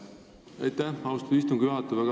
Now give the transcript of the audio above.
Aitäh, austatud istungi juhataja!